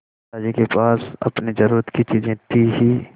दादाजी के पास अपनी ज़रूरत की चीजें थी हीं